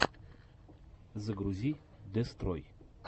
загрузи дестрой